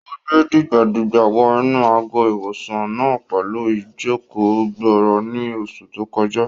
Ó gbe dìgbà-dìgbà wọ inú àgọ́-ìwòsàn náà pẹ̀lú ìjòkó-gbọọrọ ní oṣù tó kọjá